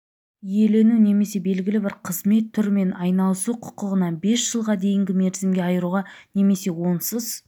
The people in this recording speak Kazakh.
иелену немесе белгілі бір қызмет түрімен айланысу құқығынан бес жылға дейінгі мерзімге айыруға немесе онсыз